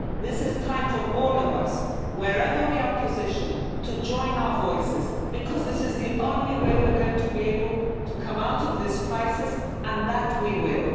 this is a time for all of us wherever we are positioned to join our voices, because this is the only way we're going to be able to come out of this crisis and that